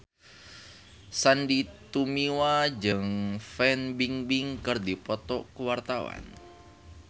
Sandy Tumiwa jeung Fan Bingbing keur dipoto ku wartawan